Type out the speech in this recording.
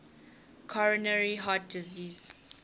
coronary heart disease